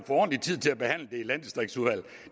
ordentlig tid til at behandle det i landdistriktsudvalget